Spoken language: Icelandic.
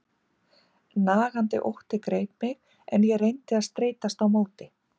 Nagandi ótti greip mig, en ég reyndi að streitast á móti.